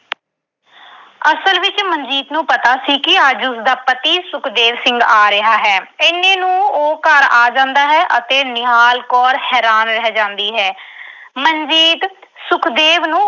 ਅਸਲ ਵਿੱਚ ਮਨਜੀਤ ਨੂੰ ਪਤਾ ਸੀ ਕਿ ਅੱਜ ਉਸਦਾ ਪਤੀ ਸੁਖਦੇਵ ਸਿੰਘ ਆ ਰਿਹਾ ਹੈ। ਇੰਨੇ ਨੂੰ ਉਹ ਘਰ ਆ ਜਾਂਦਾ ਹੈ ਅਤੇ ਨਿਹਾਲ ਕੌਰ ਹੈਰਾਨ ਰਹਿ ਜਾਂਦੀ ਹੈ। ਮਨਜੀਤ ਸੁਖਦੇਵ ਨੂੰ